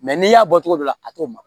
n'i y'a bɔ cogo dɔ la a t'o ma